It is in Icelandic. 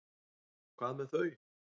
Hvað með þau?